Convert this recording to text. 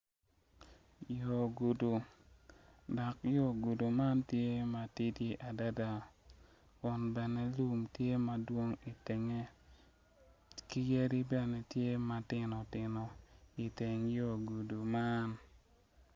Yo gudo dok yo gudi man tye matidi adada Kun bene yo tye madwong itenge ki yadi bene tye matitino tino iteng yo gudi man.